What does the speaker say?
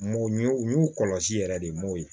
Mɔ u y'u kɔlɔsi yɛrɛ de m'o ye